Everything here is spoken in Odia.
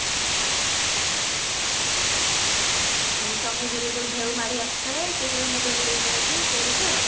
ହଁ ସମୁଦ୍ରରେ ଯୋଉ ଢେଉ ମାଡିଆସୁଥାଏ ସେଇଟାରେ ମୁଣ୍ଡ ବୁଡେଇ ଦିଅନ୍ତି ସେଇଟା ତ